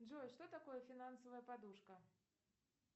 джой что такое финансовая подушка